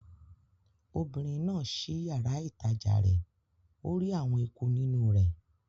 Obìnrin náà ṣí yàrá-ìtajà rẹ̀ ó rí àwọn eku nínú rẹ̀